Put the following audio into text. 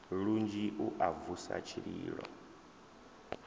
lunzhi u a vusa tshililo